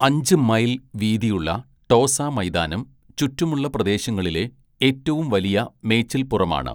അഞ്ച്‌ മൈൽ വീതിയുള്ള ടോസ മൈതാനം ചുറ്റുമുള്ള പ്രദേശങ്ങളിലെ ഏറ്റവും വലിയ മേച്ചിൽപ്പുറമാണ്.